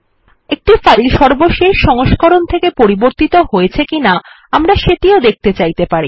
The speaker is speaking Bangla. একটি ফাইল সর্বশেষ সংস্করণ থেকে পরিবর্তিত হয়েছে কিনা আমরা সেটিও দেখতে চাইতে পারি